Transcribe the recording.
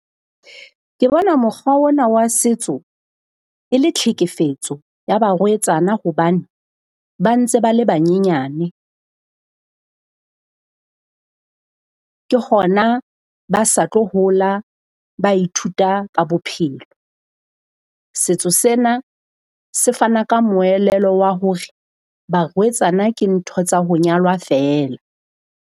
Ke bona mokgwa ona wa setso e le tlhekefetso ya barwetsana hobane ba ntse ba le banyenyane. ke hona ba sa tlo hola ba ithuta ka bophelo. Setso sena se fana ka moelelo wa hore barwetsana ke ntho tsa ho nyalwa feela.